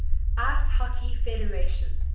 ice hockey federation